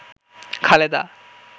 Khaleda